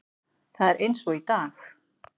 Það er eins og í dag.